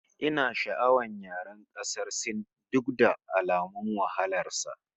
Ina sha'awar yaren ƙasar Sin duk da alamun wahalar sa